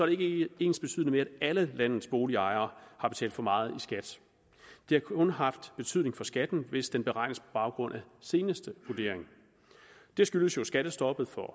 ikke ensbetydende med at alle landets boligejere har betalt for meget i skat det har kun haft betydning for skatten hvis den beregnes på baggrund af seneste vurdering det skyldes jo skattestoppet for